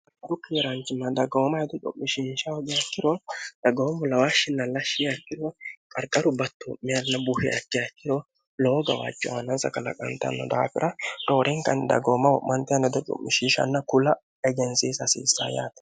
bukkimiraancimma dagawooma hedo cu'mishinsha hogakkiro dagawomu lawahshinllashshiakkiro qarqaru batto meilna buhiakki hakkiro lowo gawaacho aanansa kalaqantanno daafira noorinkanni dagaomma wo'mante anhedo cu'mishishanna kula egensiisa hasiissayyaate